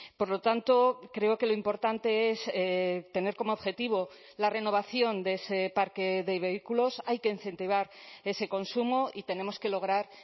por lo tanto creo que lo importante es tener como objetivo la renovación de ese parque de vehículos hay que incentivar ese consumo y tenemos que lograr